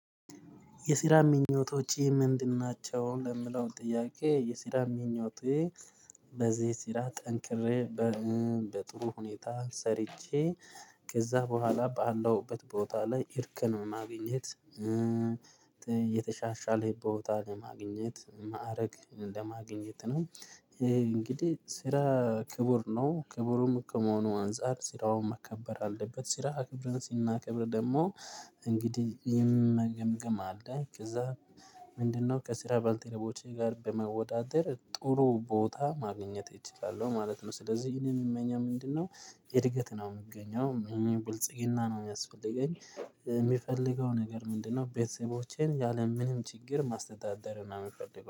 የስራ ምኞቶቼ ምንድን ናቸው? ለምለው ጥያቄ የሲራ ምኞቴ በዚህ ስራ ጠንክሬ በጥሩ ሁኔታ ሰርቼ ከዛ በኋላ በአለውበት ቦታ ላይ እርከን ማግኘት የተሻሻለ ቦታ ለማግኘት ማዕረግ እንደማግኘት ነው እንግዲህ ስራ ክቡር ነው ክቡሩም ከመሆኑ አንፃር ስራውን መከበር አለበት ስራ አክብረን ሲናከብር ደግሞ እንግዲህ የም መገምገም አለ ከዛ ምንድነው ከስራ ባልተረቦቼ ጋር በመወዳደር ጥሩ ቦታ ማግኘት እችላለሁ ማለት ነው፤ ስለዚህ እኔን የምመኘው ምንድነው እድገት ነው የምገኘው ብልጽግና ነው የሚያስፈልገኝ የሚፈልገው ነገር ምንድነው ቤተሰቦቼን ያለምንም ችግር ማስተዳደር ነው የምፈልገው።